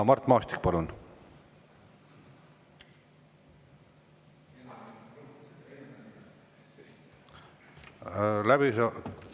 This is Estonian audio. Mart Maastik, palun!